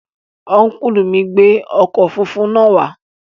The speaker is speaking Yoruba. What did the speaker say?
Ọ́nkùlù mi gbé ọkọ̀ funfun náà wá